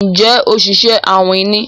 Njé Oṣiṣẹ awin ní?